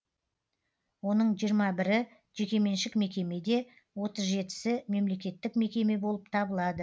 оның жиырма бірі жекеменшік мекеме де отыз жетісі мемлекеттік мекеме болып табылады